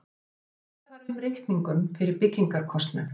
Skila þarf inn reikningum fyrir byggingarkostnaði